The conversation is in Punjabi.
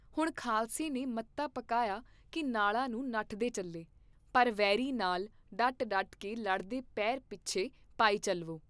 ਹੁਣ ਖਾਲਸੇ ਨੇ ਮਤਾ ਪਕਾਇਆ ਕੀ ਨਾਲਾਂ ਨੂੰ ਨੱਠਦੇ ਚੱਲੇ, ਪਰ ਵੈਰੀ ਨਾਲ ਡਟ ਡਟ ਕੇ ਲੜਦੇ ਪੇਰ ਪਿੱਛੇ ਪਾਈ ਚੱਲਵੋ।